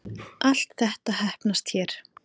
Allt þetta heppnast hér